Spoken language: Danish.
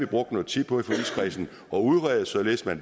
brugt noget tid på at udrede således at